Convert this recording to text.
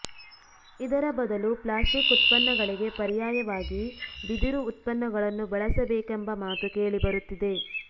ಇದರ ಬದಲು ಪ್ಲಾಸ್ಟಿಕ್ ಉತ್ಪನ್ನಗಳಿಗೆ ಪರ್ಯಾಯವಾಗಿ ಬಿದಿರು ಉತ್ಪನ್ನಗಳನ್ನು ಬಳಸಬೇಕೆಂಬ ಮಾತು ಕೇಳಿಬರುತ್ತಿದೆ